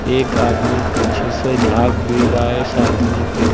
एक आदमी पीछे से झाग भी रहा है इस आदमी के।